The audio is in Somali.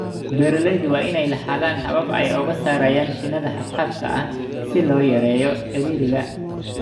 Beeralayda waa inay lahaadaan habab ay uga saarayaan shinnida xad-dhaafka ah si loo yareeyo ciriiriga.